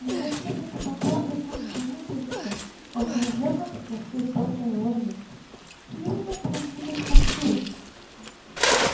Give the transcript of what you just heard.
но зачем это могло бы нам понадобиться раздражённо спросил доктор лэннинг какие у нас могли быть мотивы